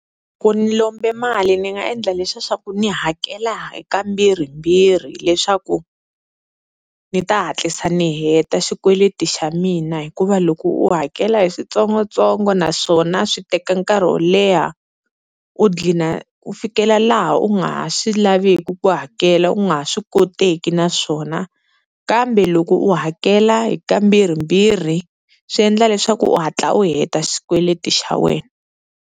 Loko ni lombe mali ni nga endla leswiya swaku ni hakela hi kambirhimbirhi leswaku ni ta hatlisa ni heta xikweleti xa mina. Hikuva loko u hakela hi switsongotsongo naswona swi teka nkarhi wo leha u dlina u fikela laha u nga ha swi laviki ku hakela u nga ha swi koteki naswona, kambe loko u hakela hi kambirhimbirhi swi endla leswaku u hatla u heta xikweleti xa wena.